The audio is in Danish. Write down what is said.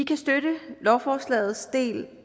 kan støtte lovforslagets del